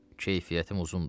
Keyfiyyətim uzundur.